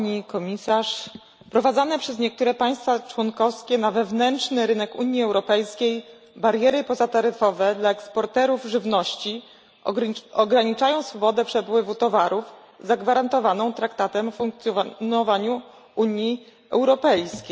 Pani Komisarz! Wprowadzone przez niektóre państwa członkowskie na rynku wewnętrznym Unii Europejskiej bariery pozataryfowe dla eksporterów żywności ograniczają swobodę przepływu towarów, zagwarantowaną Traktatem o funkcjonowaniu Unii Europejskiej.